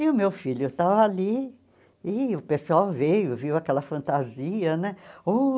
E o meu filho estava ali, e o pessoal veio, viu aquela fantasia, né? Uh